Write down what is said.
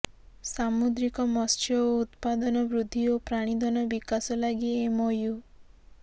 ସାମୁଦ୍ରିକ ମତ୍ସ୍ୟ ଉତ୍ପାଦନ ବୃଦ୍ଧି ଓ ପ୍ରାଣୀଧନ ବିକାଶ ଲାଗି ଏମ୍ଓୟୁ